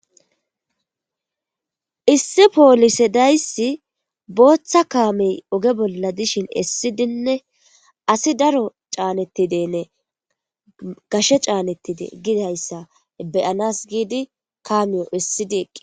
issi poolise dayssi booththa kaamey oge bolla dishin essidinne asi daro caanettidenne gashe caanettide gidayssa beyanas giidi kaamiyo issidi eqqi